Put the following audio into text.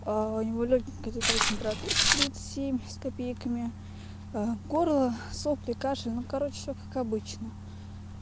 а у него лёгенькая такая температурка тридцать семь с копейками горло сопли кашель ну короче всё как обычно